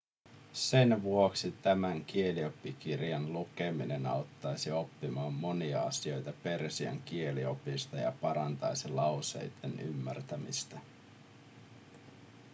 sen vuoksi tämän kielioppikirjan lukeminen auttaisi oppimaan monia asioita persian kieliopista ja parantaisi lauseitten ymmärtämistä